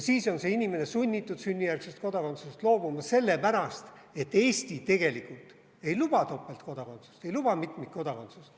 Siis on see inimene sunnitud sünnijärgsest kodakondsusest loobuma sellepärast, et Eesti tegelikult ei luba topeltkodakondsust, ei luba mitmikkodakondsust.